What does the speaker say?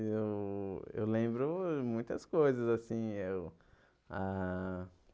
Eu eu lembro ãh muitas coisas assim eu, ah.